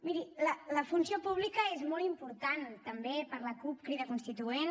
miri la funció pública és molt important també per a la cup crida constituent